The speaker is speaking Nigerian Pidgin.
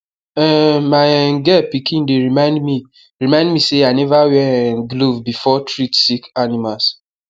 um my um girl pikin dey remind me remind me say i need wear um glove before treat sick animals